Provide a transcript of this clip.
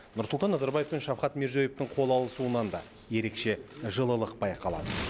нұрсұлтан назарбаев пен шавкат мирзиеевтің қол алысуынан да ерекше жылылық байқалады